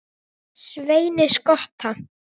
Sveini skotta.